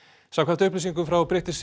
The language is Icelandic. samkvæmt upplýsingum frá British